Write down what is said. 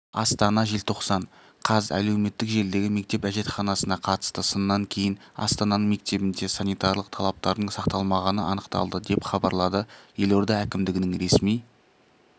астана желтоқсан қаз әлеуметтік желідегі мектеп әжетханасына қатысты сыннан кейін астананың мектебінде санитарлық талаптардың сақталмағаны анықталды деп хабарлады елорда әкімдігінің ресми